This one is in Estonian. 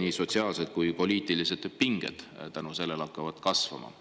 nii sotsiaalseid kui poliitilised pinged selle tõttu hakkavad kasvama.